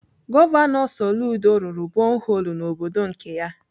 Gọvanọ Soludo rụrụ boholu n'obodo nke ya.